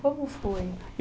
Como foi?